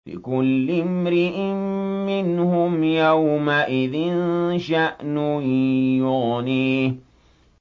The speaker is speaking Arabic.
لِكُلِّ امْرِئٍ مِّنْهُمْ يَوْمَئِذٍ شَأْنٌ يُغْنِيهِ